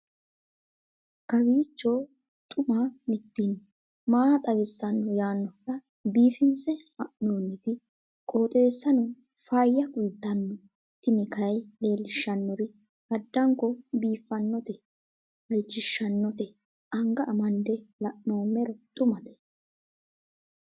kowiicho xuma mtini maa xawissanno yaannohura biifinse haa'noonniti qooxeessano faayya kultanno tini kayi leellishshannori addanko biiffannote halchishshannote anga amande la'noommero xumate